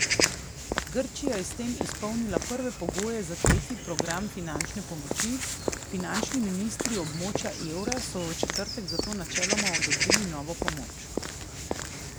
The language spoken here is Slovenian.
Grčija je s tem izpolnila prve pogoje za tretji program finančne pomoči, finančni ministri območja evra so v četrtek zato načeloma odobrili novo pomoč.